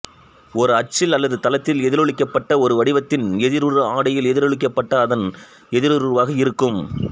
ஒரு அச்சில் அல்லது தளத்தில் எதிரொளிக்கப்பட்ட ஒரு வடிவத்தின் எதிருரு ஆடியில் எதிரொளிக்கப்பட்ட அதன் எதிருருவாக இருக்கும்